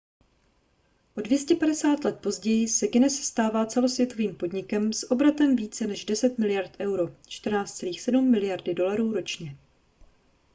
o 250 let později se guinness stává celosvětovým podnikem s obratem více než 10 miliard euro 14,7 miliardy dolarů ročně